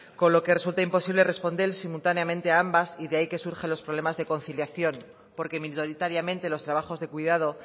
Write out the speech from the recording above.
con lo que resulta imposible responder simultáneamente a ambas y de ahí que surjan los problemas de conciliación porque minoritariamente los trabajos de cuidado